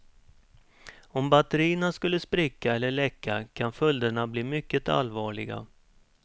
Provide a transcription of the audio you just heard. Om batterierna skulle spricka eller läcka kan följderna bli mycket allvarliga.